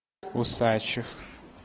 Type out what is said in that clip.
усачев